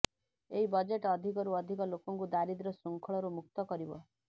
ଏହି ବଜେଟ ଅଧିକରୁ ଅଧିକ ଲୋକଙ୍କୁ ଦାରିଦ୍ର୍ୟ ଶୃଙ୍ଖଳରୁ ମୁକ୍ତ କରିବ